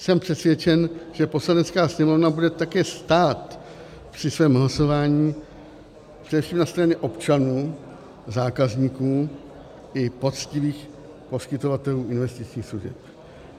Jsem přesvědčen, že Poslanecká sněmovna bude také stát při svém hlasování především na straně občanů, zákazníků i poctivých poskytovatelů investičních služeb.